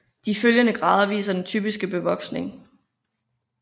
De følgende grader viser den typiske bevoksning